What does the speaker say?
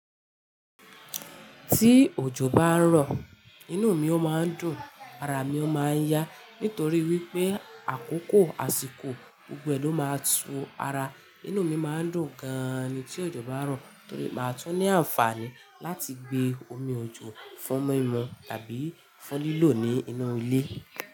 Tí òjò bá ń rọ, inú mi omi ó máa ń dùn, ara mi ó máa ń yá. Nítorí wípé àkókò àsìkò gbogbo e ló máa ń tún ara. Inú mi máa ń dùn gan an tí òjò bá ń rọ, torí máa tún ní àǹfààní láti gbé omi òjò fún mímú tàbí fún lílò ní inú ilé.